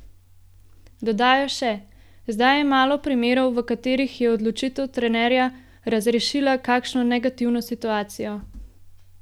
Dodajajo še: "Zdaj je malo primerov, v katerih je odločitev trenerja razrešila kakšno negativno situacijo.